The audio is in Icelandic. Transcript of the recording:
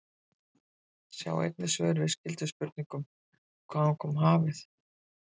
Sjá einnig svör við skyldum spurningum: Hvaðan kom hafið?